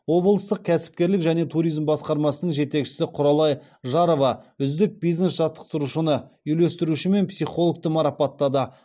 облыстық кәсіпкерлік және туризм басқармасының жетекшісі құралай жарова үздік бизнес жаттықтырушыны үйлестіруші мен психологты марапаттады